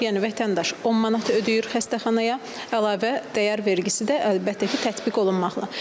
Yəni vətəndaş 10 manat ödəyir xəstəxanaya əlavə dəyər vergisi də əlbəttə ki tətbiq olunmaqla.